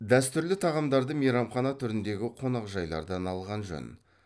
дәстүрлі тағамдарды мейрамхана түріндегі қонақжайлардан алған жөн